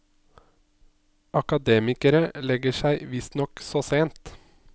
Akademikere legger seg visstnok så sent.